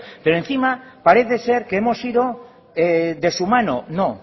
pero encima parece ser que hemos ido de su mano no